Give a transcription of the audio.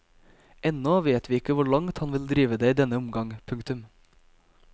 Ennå vet vi ikke hvor langt han vil drive det i denne omgang. punktum